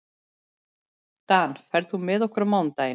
Dan, ferð þú með okkur á mánudaginn?